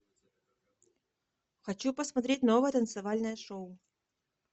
хочу посмотреть новое танцевальное шоу